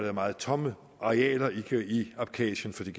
er meget tomme arealer i abkhasien fordi